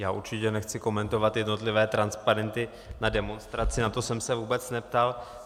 Já určitě nechci komentovat jednotlivé transparenty na demonstraci, na to jsem se vůbec neptal.